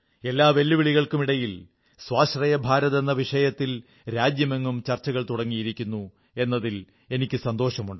എല്ലാ വെല്ലുവിളികൾക്കുമിടയിൽ സ്വാശ്രയ ഭാരത് എന്ന വിഷയത്തിൽ രാജ്യമെങ്ങും ചർച്ചകൾ തുടങ്ങിയിരിക്കുന്നു എന്നതിൽ എനിക്കു സന്തോഷമുണ്ട്